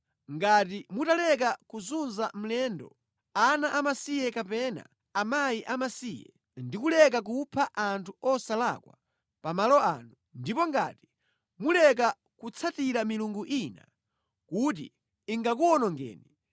ngati mutaleka kuzunza mlendo, ana amasiye kapena akazi amasiye ndi kuleka kupha anthu osalakwa pa malo ano, ndipo ngati muleka kutsatira milungu ina, kuti ingakuwonongeni,